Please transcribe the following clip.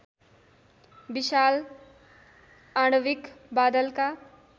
विशाल आणविक बादलका